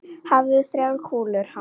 Hæfðu þrjár kúlur hann.